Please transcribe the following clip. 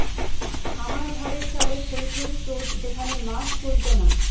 আমার ঘরের চালে থইথই স্রোত যেখানে মাছ চলত না